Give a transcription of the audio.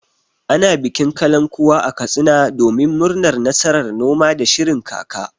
Ana bikin kalankuwa a Katsina domin murnar nasarar noma da shirin kaka.